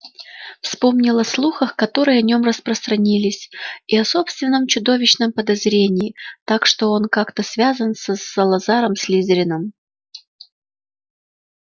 вспомнил о слухах которые о нем распространились и о собственном чудовищном подозрении так что он как-то связан с салазаром слизерином